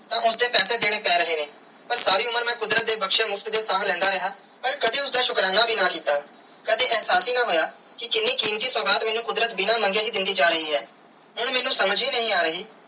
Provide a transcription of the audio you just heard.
ਤੇ ਉਸਦੇ ਪੈਸੇ ਦਿਨੇ ਪੈ ਰਹੇ ਨੇ ਪਾਰ ਸਾਰੀ ਉਮਰ ਮੈਂ ਕੁਦਰਤ ਦੀ ਬਖਸ਼ਿਆ ਮੁਫ਼ਤ ਦੀਆ ਸਾਹ ਲੈਂਦਾ ਰਿਆ ਪਾਰ ਕਦੀ ਉਸਦਾ ਸ਼ੁਕਰਾਨਾ ਵੀ ਨਾ ਕਿੱਤਾ ਕਦੀ ਇਹਸਾਸ ਹੀ ਨਾ ਹੋਇਆ ਕਿ ਕੀਨੀ ਕੀਮਤੀ ਸੁਗਾਤ ਮੈਨੂੰ ਕੁਦਰਤ ਬਿਨਾ ਮੰਗੇ ਹੀ ਦੇਂਦੀ ਜਾ ਰਾਏ ਹੈ ਹੁਣ ਮੈਨੂੰ ਸਮਝ ਹੀ ਨਹੀਂ ਆਹ ਰਹੀ.